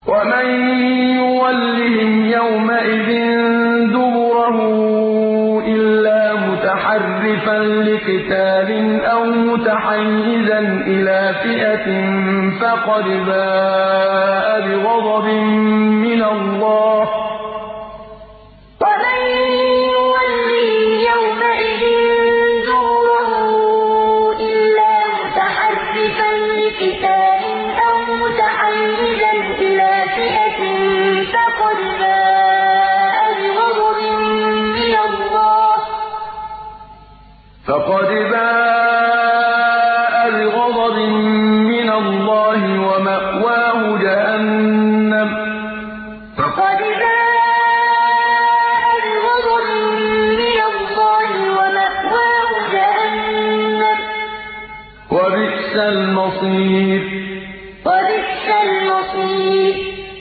وَمَن يُوَلِّهِمْ يَوْمَئِذٍ دُبُرَهُ إِلَّا مُتَحَرِّفًا لِّقِتَالٍ أَوْ مُتَحَيِّزًا إِلَىٰ فِئَةٍ فَقَدْ بَاءَ بِغَضَبٍ مِّنَ اللَّهِ وَمَأْوَاهُ جَهَنَّمُ ۖ وَبِئْسَ الْمَصِيرُ وَمَن يُوَلِّهِمْ يَوْمَئِذٍ دُبُرَهُ إِلَّا مُتَحَرِّفًا لِّقِتَالٍ أَوْ مُتَحَيِّزًا إِلَىٰ فِئَةٍ فَقَدْ بَاءَ بِغَضَبٍ مِّنَ اللَّهِ وَمَأْوَاهُ جَهَنَّمُ ۖ وَبِئْسَ الْمَصِيرُ